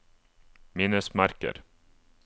minnesmerker